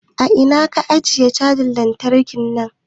A ina ka ajiye canza lantarki na?